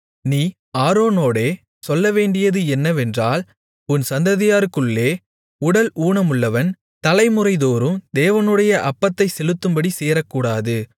நீ ஆரோனோடே சொல்லவேண்டியது என்னவென்றால் உன் சந்ததியாருக்குள்ளே உடல் ஊனமுள்ளவன் தலைமுறைதோறும் தேவனுடைய அப்பத்தைச் செலுத்தும்படி சேரக்கூடாது